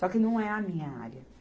Só que não é a minha área.